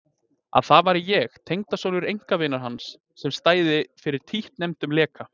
Að það væri ég, tengdasonur einkavinar hans, sem stæði fyrir títtnefndum leka.